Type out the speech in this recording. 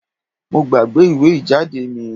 Mo gbàgbé ìwé ìjáde mi